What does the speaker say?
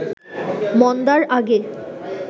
মন্দার আগে